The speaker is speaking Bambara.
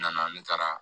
N nana ne taara